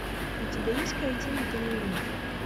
у тебя есть картина триумф